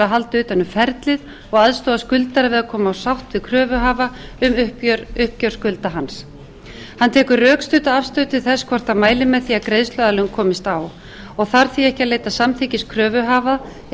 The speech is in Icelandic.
að halda utan um ferlið og aðstoða skuldara við að koma á sátt við kröfuhafa um uppgjör skulda hans hann tekur rökstudda afstöðu til þess hvort hann mælir með því að greiðsluaðlögun komist á og þarf því ekki að leita samþykkis kröfuhafa